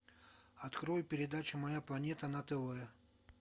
открой передачу моя планета на тв